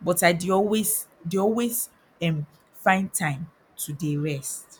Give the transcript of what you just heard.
but i dey always dey always erm find time to dey rest